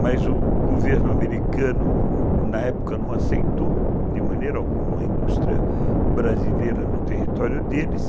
Mas o governo americano, na época, não aceitou de maneira alguma a indústria brasileira no território deles.